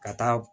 Ka taa